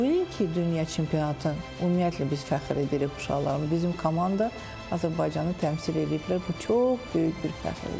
Bu ilki dünya çempionatı ümumiyyətlə biz fəxr edirik uşaqlar, bizim komanda Azərbaycanı təmsil ediblər, bu çox böyük bir fəxrdir.